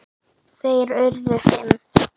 Þeir urðu fimm.